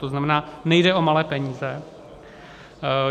To znamená, nejde o malé peníze.